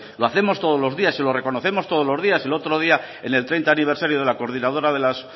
lo hacemos todos los días y lo reconocemos todos los días el otro día en el treinta aniversario de la coordinadora de las